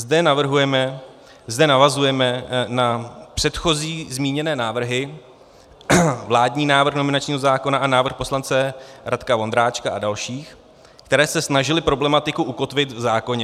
Zde navazujeme na předchozí zmíněné návrhy, vládní návrh nominačního zákona a návrh poslance Radka Vondráčka a dalších, které se snažily problematiku ukotvit v zákoně.